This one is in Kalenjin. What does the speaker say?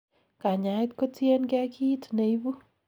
kanyaet kotiengei kiit neibu